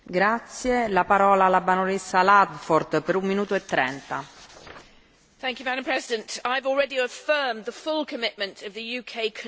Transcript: Madam President, I have already affirmed the full commitment of the UK Conservative Liberal Democrat coalition government to EU accession to the Convention.